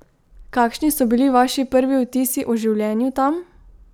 Kakšni so bili vaši prvi vtisi o življenju tam?